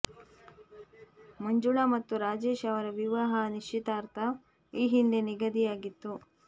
ಮಂಜುಳಾ ಮತ್ತು ರಾಜೇಶ್ ಅವರ ವಿವಾಹ ನಿಶ್ಚಿತಾರ್ಥ ಈ ಹಿಂದೆ ನಿಗದಿಯಾಗಿತ್ತು